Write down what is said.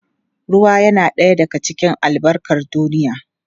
Ruwa yana ɗaya daga cikin albarkar duniya.